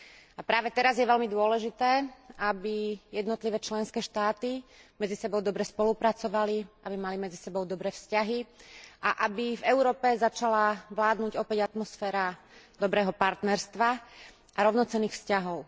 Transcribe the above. A práve teraz je veľmi dôležité, aby jednotlivé členské štáty medzi sebou dobre spolupracovali, aby mali medzi sebou dobré vzťahy a aby v Európe začala vládnuť opäť atmosféra dobrého partnerstva a rovnocenných vzťahov.